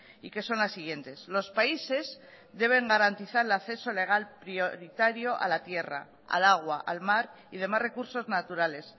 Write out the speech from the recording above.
y que son las siguientes los países deben garantizar el acceso legal prioritario a la tierra al agua al mar y demás recursos naturales